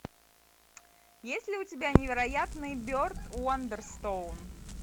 есть ли у тебя невероятный берт уандерстоун